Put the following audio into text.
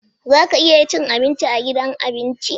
Za ka iya cin abinci a gidan abinci?